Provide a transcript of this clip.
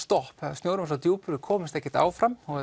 snjórinn var svo djúpur að við komumst ekkert áfram og